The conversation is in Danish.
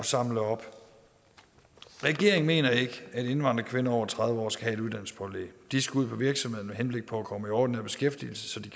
samle op regeringen mener ikke at indvandrerkvinder over tredive år skal have et uddannelsespålæg de skal ud på virksomheder med henblik på at komme i ordinær beskæftigelse så de